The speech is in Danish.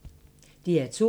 DR2